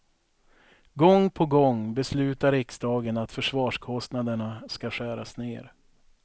Gång på gång beslutar riksdagen att försvarskostnaderna ska skäras ner.